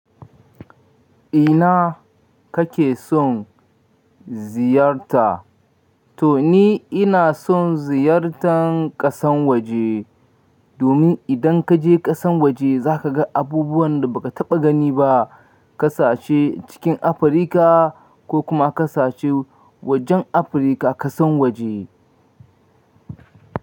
Ina kake son ziyarta? To ni ina son ziyartan ƙasan waje, domin idan ka je ƙasan waje za ka ga abubuwan da ba ka taɓa gani ba, kasashe cikin Afirka ko kuma kasashe wajen Afirka ƙasan waje.